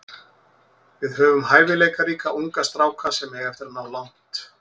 Við höfum hæfileikaríka unga stráka sem eiga eftir að ná langt.